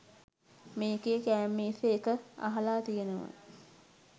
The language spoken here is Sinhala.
මේකෙ කෑම මේසෙ එක අහලා තියනවා